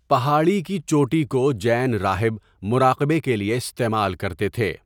پہاڑی کی چوٹی کو جین راہب مراقبہ کے لیے استعمال کرتے تھے۔